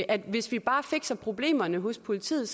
at hvis vi bare fikser problemerne hos politiet